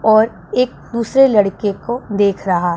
और एक दूसरे लड़के को देख रहा--